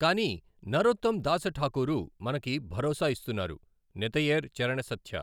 కానీ నరోత్తమ్ దాసఠాకూరు మనకు భరోసా ఇస్తున్నారు నితయేర్ చరణ సత్య.